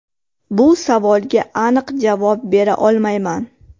Bu savolga aniq javob bera olmayman.